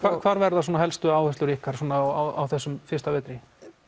hvar verða svona helstu áherslur ykkar á þessum fyrsta vetri